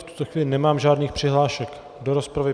V tuto chvíli nemám žádné přihlášky do rozpravy.